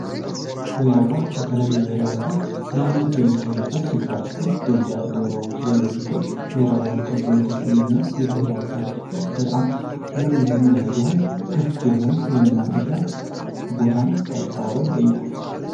ወይራ ባንክ በተለያዩ ወይራ ዛፍ ለምነት የሚታይበት ስፍራ ሲሆን በብዛት ወይራዎች የሚበዙት ወይራ ባንክ ተብሎ የተሰየመ ብሄራዊ ፓርክ ሲሆን በጣም የሚያምር ለህዝቡ ክፍት የሆነ የመናፈሻ ቦታ ነው። በአዲስ አበባ ይገኛል።